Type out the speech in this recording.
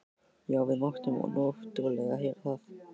Já, við máttum náttúrlega heyra það.